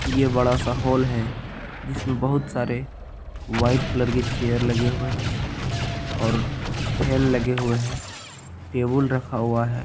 ये बड़ा-सा हॉल है जिसमे बहुत सारे वाइट कलर के चेयर लगे हुए है और फेन लगे हुए है टेबुल रखा हुआ है।